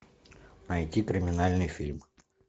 найти криминальный фильм